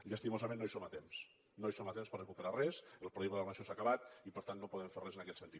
llastimosament no hi som a temps no hi som a temps per a recuperar res el període de programació s’ha acabat i per tant no podem fer res en aquest sentit